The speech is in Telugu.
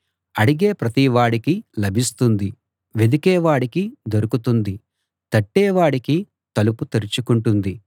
అడిగే ప్రతివాడికీ లభిస్తుంది వెదికే వాడికి దొరుకుతుంది తట్టే వాడికి తలుపు తెరుచుకుంటుంది